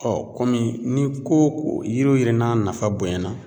ni ko ko yiri wo yiri n'a nafa bonyana